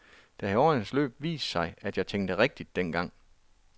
Det har i årenes løb vist sig, at jeg tænkte rigtigt dengang.